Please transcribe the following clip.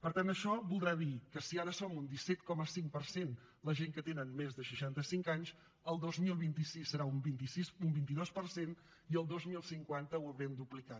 per tant això voldrà dir que si ara són un disset coma cinc per cent la gent que tenen més de seixanta cinc anys el dos mil vint sis serà un vint dos per cent i el dos mil cinquanta ho haurem duplicat